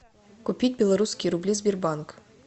купить белорусские рубли сбербанк